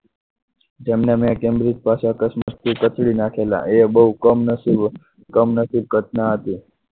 જેમને મેં કેમરે જ પાછળ કચડી નાખેલા એ બહુ કમ નસીબ કમ નસીબ ઘટના હતી.